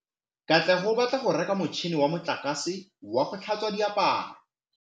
Katlego o batla go reka motšhine wa motlakase wa go tlhatswa diaparo.